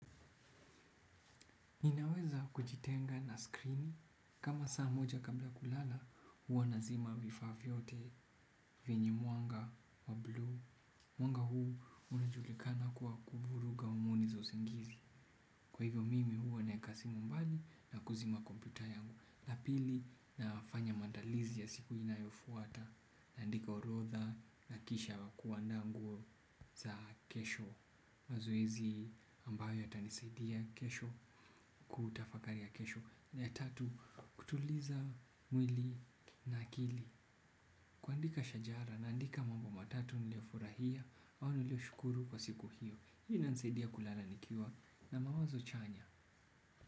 Ninaweza kujitenga na skrini kama saa moja kabla kulala huwa nazima vifaa vyote venye mwanga wa bluu mwanga huu unajulikana kuwa kuvuruga homoni za usingizi. Kwa hivyo mimi huwa naeka simu mbali na kuzima kompyuta yangu. Na pili nafanya maandalizi ya siku inayofuata naandika orodha na kisha kuandaa nguo za kesho. Mazoezi ambayo yatanisaidia kesho kutafakari ya kesho na ya tatu kutuliza mwili na akili kuandika shajara naandika mambo matatu niliyofurahia au nilioshukuru kwa siku hiyo hii inanisaidia kulala nikiwa na mawazo chanya.